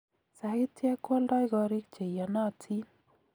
Sagityek koaldai koriik cheiyanatiin